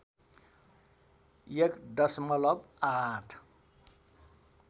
१ दशमलव ८